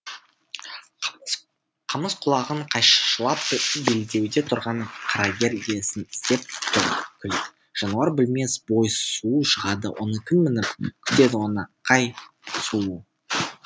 қамыс құлағын қайшылап белдеуде тұрған қарагер иесін іздеп тұр күлік жануар білмес бой суу шығады оны кім мініп қүтеді оны қай сұлу